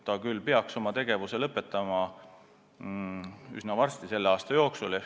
Ta küll peaks oma tegevuse üsna varsti, selle aasta jooksul lõpetama.